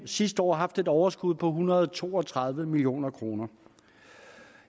sidste år haft et overskud på en hundrede og to og tredive million kroner